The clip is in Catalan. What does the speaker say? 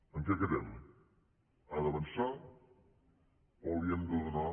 en què quedem ha d’avançar o li hem de donar